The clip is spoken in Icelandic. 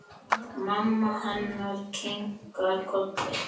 Mamma hennar kinkar kolli.